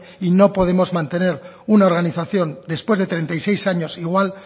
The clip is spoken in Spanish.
y no podemos mantener una organización después de treinta y seis años igual